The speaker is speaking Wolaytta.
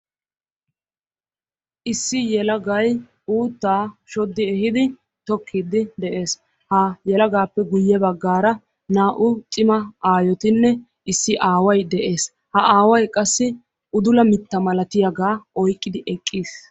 issi yelagay uuttaa shoddi ehiidi tokkiidi de'ees. Ha yelagaappe guye bagaaara naa"u cimma aayotinne issi aaway de'ees. Ha aaway qassi udulla mitta milattiyaagaa oyqqidi eqqis.